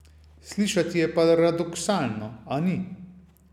Slišati je paradoksalno, a ni.